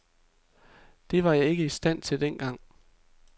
Det var jeg ikke i stand til dengang.